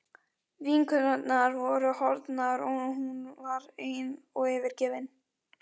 Vinkonurnar voru horfnar og hún var ein og yfirgefin.